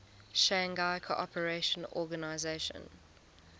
shanghai cooperation organization